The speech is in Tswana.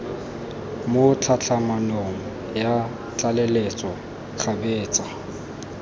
mo tlhatlhamanong ya tlaleletso kgabetsa